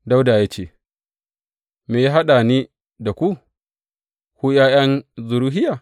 Dawuda ya ce, Me ya haɗa ni da ku, ku ’ya’yan Zeruhiya?